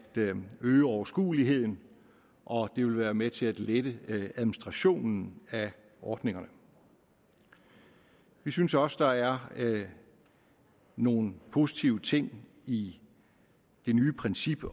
øge overskueligheden og det vil være med til at lette administrationen af ordningerne vi synes også der er nogle positive ting i det nye princip